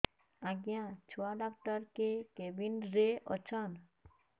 ଆଜ୍ଞା ଛୁଆ ଡାକ୍ତର କେ କେବିନ୍ ରେ ଅଛନ୍